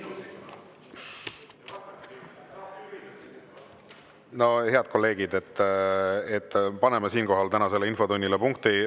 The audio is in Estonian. No, head kolleegid, paneme siinkohal tänasele infotunnile punkti.